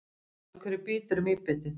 Af hverju bítur mýbitið?